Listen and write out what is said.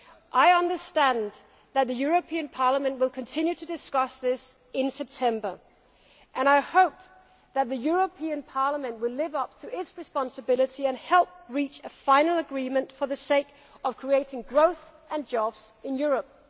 I understand that the European Parliament will continue to discuss this in September and I hope that the European Parliament will live up to its responsibility and help reach a final agreement for the sake of creating growth and jobs in Europe.